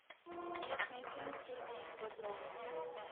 известный фильм с сергеем бодровым